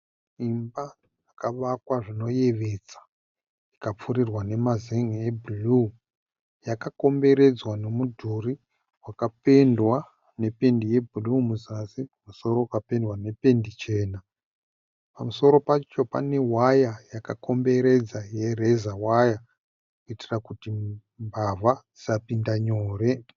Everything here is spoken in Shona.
imba yakavakwa zvinoyevedza ikapfurirarwa nemazenge eblue yakakomberedzwa nemudhuri wakabendwa nependi yeblue kuzasi kumusoro ikapendwa nependi chena. Pamusoro pacho panewire yakakomberwdzwa yerazor wire kuitirakuti mbava dzisapindanyore